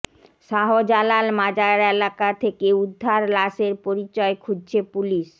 শাহজালাল মাজার এলাকা থেকে উদ্ধার লাশের পরিচয় খুঁজছে পুলিশ